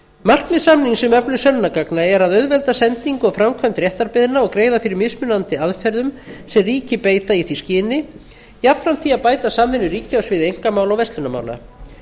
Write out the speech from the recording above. markmið samnings um öflun sönnunargagna er að auðvelda sendingu og framkvæmd réttarbeiðna og greiða fyrir mismunandi aðferðum sem ríki beita í því skyni jafnframt því að bæta samvinnu ríkja á sviði einkamála og verslunarmála